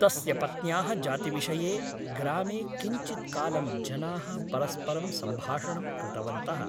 तस्य पत्न्याः जातिविषये ग्रामे किञ्चित्कालं जनाः परस्परं सम्भाषणं कृतवन्तः ।